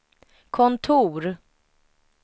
kontor